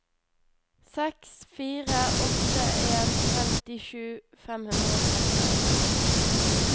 seks fire åtte en femtisju fem hundre og trettifem